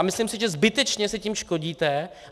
A myslím si, že zbytečně si tím škodíte.